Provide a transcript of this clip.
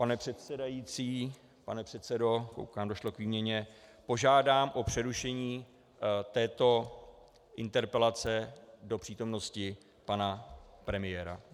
Pane předsedající, pane předsedo, koukám, došlo k výměně, požádám o přerušení této interpelace do přítomnosti pana premiéra.